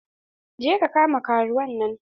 Je ka kama karuwan nan!